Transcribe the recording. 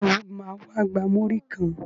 Sọ ma wá gba múrí kan?